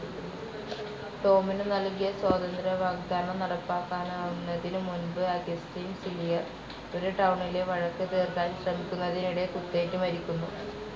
ടോമിനു നൽകിയ സ്വാതന്ത്ര്യവാഗ്‌ദാനം നടപ്പാക്കാനാവുന്നതിനു മുൻപ് അഗസ്റ്റിൻ സിലിയർ ഒരു ടൗണിലെ വഴക്ക് തീർക്കാൻ ശ്രമിക്കുന്നതിനിടെ കുത്തേറ്റു മരിക്കുന്നു.